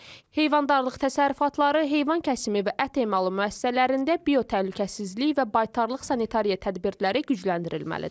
Heyvandarlıq təsərrüfatları, heyvan kəsimi və ət emalı müəssisələrində biotəhlükəsizlik və baytarlıq sanitariya tədbirləri gücləndirilməlidir.